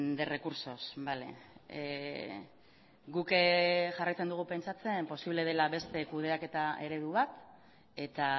de recursos bale guk jarraitzen dugu pentsatzen posible dela beste kudeaketa eredu bat eta